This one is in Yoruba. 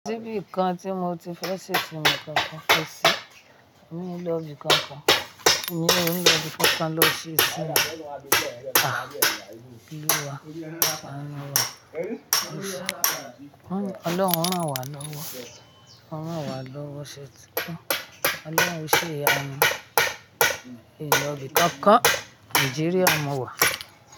Ṣé bí nǹkan tí mo ti fẹ́ ṣe tí mo kọ́kọ́ fẹ́ ṣe ni lọ di kankan, ni lọ di kankan lọ ṣe síta. Ah! Kíni wà? A lọ wà. Ọlọ́hun o ran wà lọ́wọ́, a ranwà lọ́wọ́ ṣé tí gbo? Ọlọ́hun ṣe'yanu. In ló bi kankan? Nàìjíríà mo wà.